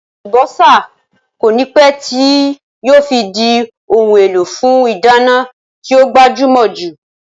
Àlùbọ́sá kònípẹ́ tíì yìí ó fi di òun èlò fún ìdáná tí ó gbajúmò jù